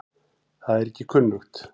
Það er ekki kunnugt.